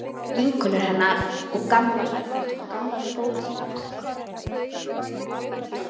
Vinkonur hennar og gamlar skólasystur á Eskifirði litu hana öfundaraugum.